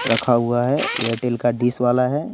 रखा हुआ है एयरटेल का डिश वाला है।